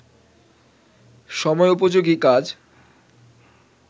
সময়োপযোগী কাজ